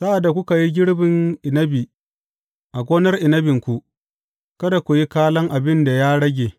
Sa’ad da kuka yi girbin inabi a gonar inabinku, kada ku yi kalan abin da ya rage.